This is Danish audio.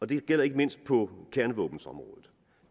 det gælder ikke mindst på kernevåbenområdet